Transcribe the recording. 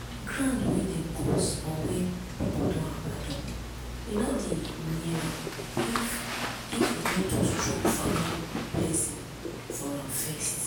ground wey dem curse or wey people don abandon we no dey near am if if we no do strong family blessing for am first.